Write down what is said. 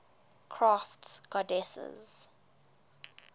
crafts goddesses